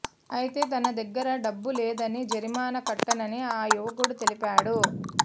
అయితే తన దగ్గర డబ్బు లేదని జరిమానా కట్టనని ఆ యువకుడు తెలిపాడు